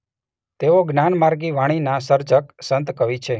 તેઓ જ્ઞાનમાર્ગી વાણીનાં સર્જક સંતકવિ છે.